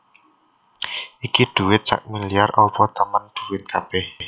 Iki dhuwit sakmiliar opo temen dhuwit kabeh